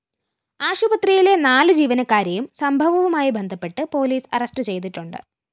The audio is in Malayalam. ആശുപത്രിയിലെ നാലു ജീവനക്കാരെയും സംഭവവുമായി ബന്ധപ്പെട്ട് പോലീസ് അറസ്റ്റു ചെയ്തിട്ടുണ്ട്